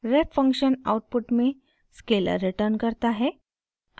ref function output में scalar return करता है